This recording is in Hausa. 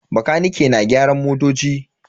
Bakanike na gyaran motoci.